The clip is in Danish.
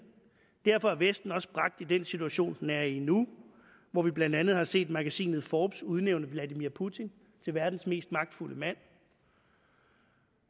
derfor er vesten også bragt i den situation den er i nu hvor vi blandt andet har set magasinet forbes udnævne vladimir putin til verdens mest magtfulde mand